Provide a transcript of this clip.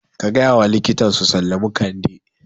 Ka gayawa likitan su sallamu Kande